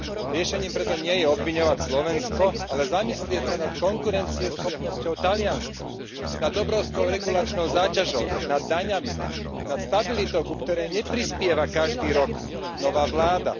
Riešením preto nie je obviňovať Slovensko, ale zamyslieť sa nad konkurencieschopnosťou Talianska, nad obrovskou regulačnou záťažou, nad daňami, nad stabilitou, ku ktorej neprispieva každý rok nová vláda.